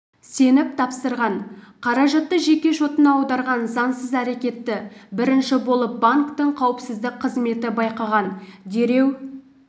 сеніп тапсырған қаражатты жеке шотына аударған заңсыз әрекетті бірінші болып банктің қауіпсіздік қызметі байқаған дереу